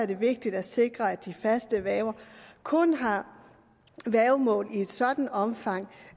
det vigtigt at sikre at de faste værger kun har værgemål i et sådant omfang